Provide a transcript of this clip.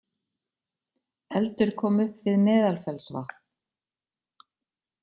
Eldur kom upp við Meðalfellsvatn